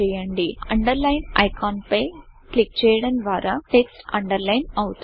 Underlineఅండర్లైన్ icon పై click చేయడం ద్వారా టెక్స్ట్ అండర్లైన్ అవుతుంది